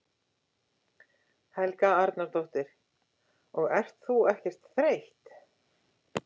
Helga Arnardóttir: Og ert þú ekkert þreytt?